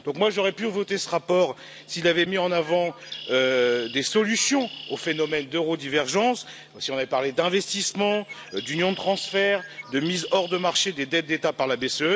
J'aurais pu voter ce rapport s'il avait mis en avant des solutions au phénomène d'eurodivergence, s'il avait parlé d'investissement, d'union de transfert, de mise hors de marché des dettes d'État par la BCE.